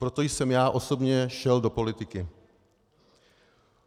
Proto jsem já osobně šel do politiky.